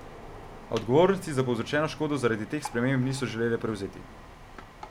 A odgovornosti za povzročeno škodo zaradi teh sprememb niso želele prevzeti.